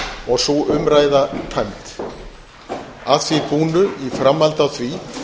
og sú umræða tæmd að því búnu í framhaldi af því